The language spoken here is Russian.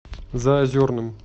заозерным